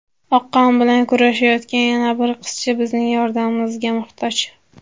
Oqqon bilan kurashayotgan yana bir qizcha bizning yordamimizga muhtoj.